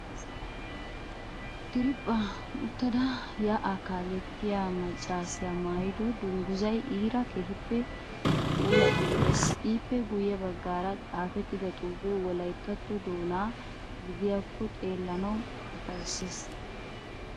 Diriiphphan uttada yaa'aa kaalettiyaa maccaasiyaa maayido dungguzzayii iiraa keehippe puulattidi lo'ees. ippe guyye baggaara xaafettida xuufee Wolayittatto doona gidiyaako xeellanawu ufayissees.